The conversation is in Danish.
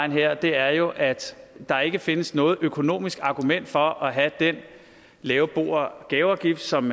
her er jo at der ikke findes noget økonomisk argument for at have den lave bo og gaveafgift som